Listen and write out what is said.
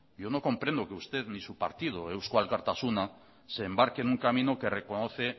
yo no comprendo que usted ni su partido eusko alkartasuna se embarque en un camino que reconoce